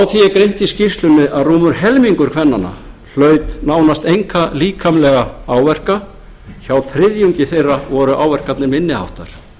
í skýrslunni að rúmur helmingur kvennanna hlaut nánast enga líkamlega áverka hjá þriðjungi þeirra voru áverkarnir minni háttar